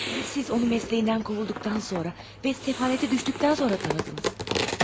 Siz onu peşəsindən qovulduqdan sonra, və səfalətə düşdükdən sonra tanıdınız.